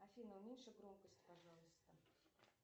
афина уменьши громкость пожалуйста